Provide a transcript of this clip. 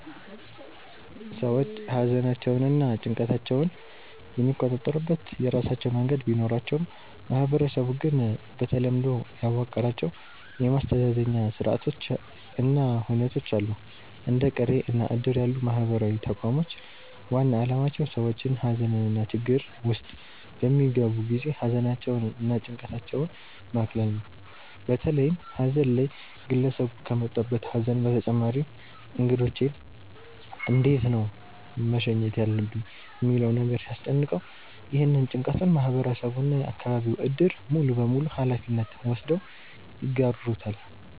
ሰዎች ሃዘናቸውንና ጭንቀታቸውን የሚቆጣጠሩበት የራሳቸው መንገድ ቢኖራቸውም ማህበረሰቡ ግን በተለምዶ ያዋቀራቸው የማስተዛዘኛ ስርአቶች እና ሁነቶች አሉ። እንደ ቅሬ እና እድር ያሉ ማህበራዊ ተቋሞች ዋና አላማቸው ሰዎች ሃዘንና ችግር ውስጥ በሚገቡ ጊዜ ሃዘናቸውን እና ጭንቀታቸውን ማቅለል ነው። በተለይም ሃዘን ላይ ግለሰቡ ከመጣበት ሃዘን በተጨማሪ እንግዶቼን እንዴት ነው መሸኘት ያለብኝ ሚለው ነገር ሲያስጨንቀው፤ ይህንን ጭንቀቱን ማህበረሰቡ እና የአከባቢው እድር ሙሉበሙሉ ሃላፊነት ወስደው ይጋሩታል።